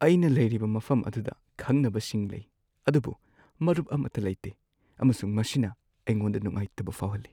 ꯑꯩꯅ ꯂꯩꯔꯤꯕ ꯃꯐꯝ ꯑꯗꯨꯗ ꯈꯪꯅꯕꯁꯤꯡ ꯂꯩ ꯑꯗꯨꯕꯨ ꯃꯔꯨꯞ ꯑꯃꯠꯇ ꯂꯩꯇꯦ ꯑꯃꯁꯨꯡ ꯃꯁꯤꯅ ꯑꯩꯉꯣꯟꯗ ꯅꯨꯡꯉꯥꯏꯇꯕ ꯐꯥꯎꯍꯜꯂꯤ ꯫